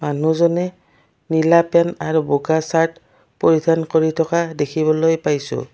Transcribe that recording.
মানুহজনে নীলা পেন্ট আৰু বগা শ্বাৰ্ট পৰিধান কৰি থকা দেখিবলৈ পাইছোঁ।